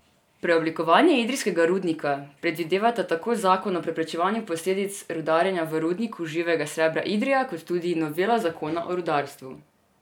Preoblikovanje idrijskega rudnika predvidevata tako zakon o preprečevanju posledic rudarjenja v Rudniku živega srebra Idrija kot tudi novela zakona o rudarstvu.